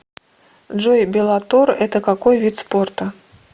джой беллатор это какой вид спорта